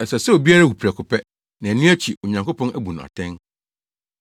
Ɛsɛ sɛ obiara wu prɛko pɛ, na ɛno akyi Onyankopɔn abu no atɛn.